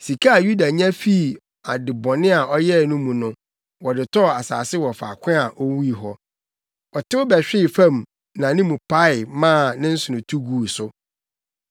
(Sika a Yuda nya fii ade bɔne a ɔyɛe no mu no, wɔde tɔɔ asase wɔ faako a owui hɔ. Ɔtew bɛhwee fam ma ne mu pae maa ne nsono tu guu so.